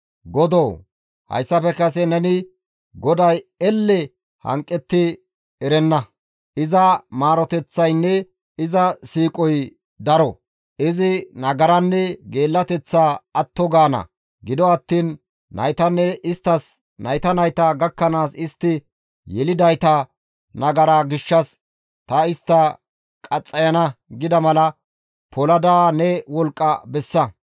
Godoo hayssafe kase neni, ‹GODAY elle hanqetti erenna; iza maaroteththaynne iza siiqoy daro; izi nagaranne geellateththaa atto gaana; gido attiin naytanne isttas nayta nayta gakkanaas istti yelidayta nagara gishshas ta istta qaxxayana› gida mala polada ne wolqqa bessa.